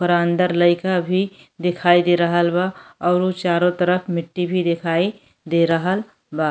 ओकरा अंदर लईका भी दिखाई दे रहल बा औरु चारों तरफ मिट्टी भी दिखाई दे रहल बा।